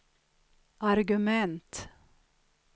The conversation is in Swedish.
argument